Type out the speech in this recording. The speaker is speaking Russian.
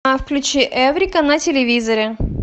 включи эврика на телевизоре